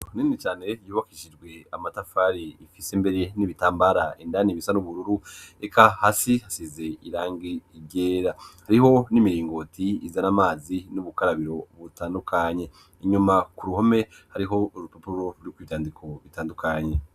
Kuninicane yubakishijwe amatafari ifise imbere n'ibitambara indani ibisa n'ubururu eka hasi hasize irangi igera hariho n'imiringoti izana amazi n'ubukarabiro butandukanye inyuma ku ruhome hariho urupupuro rwuko ivyandiko bitandukanye.